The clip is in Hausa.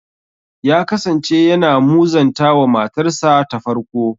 Ya kasance yana muzanta wa matarsa ta farko.